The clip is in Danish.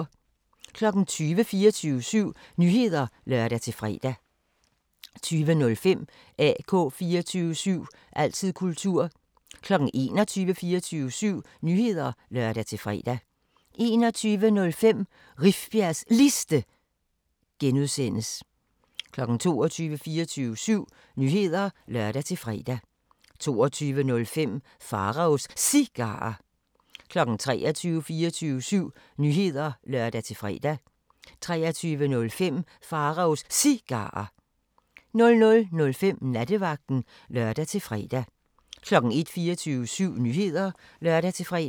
20:00: 24syv Nyheder (lør-fre) 20:05: AK 24syv – altid kultur 21:00: 24syv Nyheder (lør-fre) 21:05: Rifbjergs Liste (G) 22:00: 24syv Nyheder (lør-fre) 22:05: Pharaos Cigarer 23:00: 24syv Nyheder (lør-fre) 23:05: Pharaos Cigarer 00:05: Nattevagten (lør-fre) 01:00: 24syv Nyheder (lør-fre)